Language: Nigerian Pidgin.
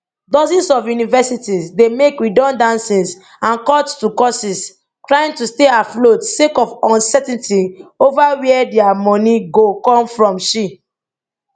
dozens of universities dey make redundancies and cuts to courses trying to stay afloat sake of uncertainty over wia dia money go come fromshe